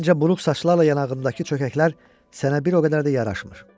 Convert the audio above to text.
Məncə buruq saçlarla yanağındakı çökəklər sənə bir o qədər də yaraşmır.